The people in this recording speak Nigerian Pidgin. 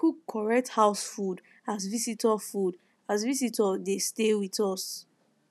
we cook correct house food as visitor food as visitor dey stay with us